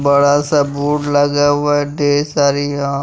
बड़ा सा बोर्ड लगा हुआ है ढेर सारी यहां--